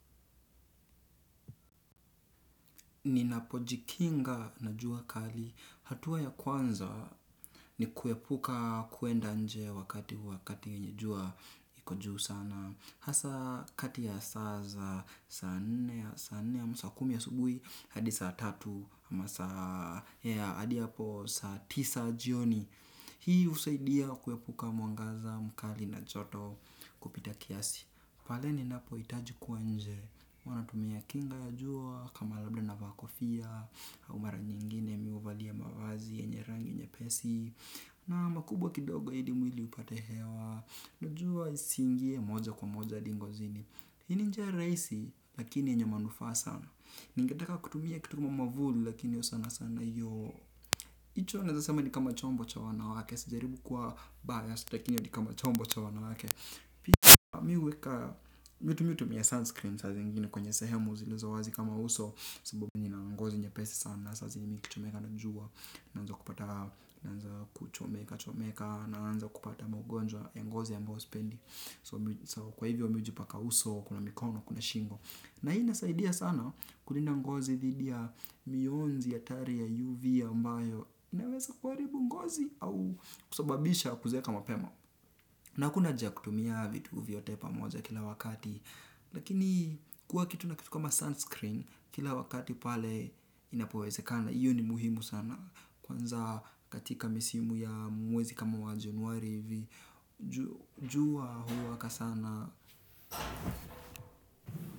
Ninapo jikinga na jua kali hatuwa ya kwanza ni kuepuka kuenda nje wakati wakati yenye jua iko juu sana. Hasa kati ya saa za, saa nne ama sa kumi asubuhi, hadi saa tatu, hadi hapo saa tisa jioni. Hii husaidia kuepuka mwangaza, mkali na joto kupita kiasi. Pale ninapohitaji kuwa nje huwa natumia kinga ya jua kama labda navaa kofia au mara nyingine mi huvalia mavazi yenye rangi nyepesi na makubwa kidogo ili mwili upate hewa na jua isiingie moja kwa moja hadi ngozini hii ni njia rahisi lakini yenye manufaa sana ningetaka kutumia kitu kama mwavuli lakini io sana sana iyo hicho naezasema ni kama chombo cha wanawake. Sijaribu kuwa bias lakini hio ni kama chombo cha wanawake pia mi huweka mi hutumia sunscreen saa zingine kwenye sehemu zilizo wazi kama uso sababu nina ngozi nyepesi sana saa zingine nikichomeka na jua naanza kupata naanza kuchomeka chomeka naanza kupata maugonjwa ya ngozi ambao sipendi. So kwa hivyo mi hujipaka uso kwenye mikono, kwenye shingo na hii inasaidia sana kulinda ngozi dhidi ya mionzi hatari ya UV ambayo inaweza kuharibu ngozi au kusababisha kuzeeka mapema na hakuna haja ya kutumia vitu vyote pamoja kila wakati lakini kuwa kitu na kitu kama sunscreen kila wakati pale inapowezekana iyo ni muhimu sana kwanza katika misimu ya mwezi kama wa januari hivi jua huwaka sana.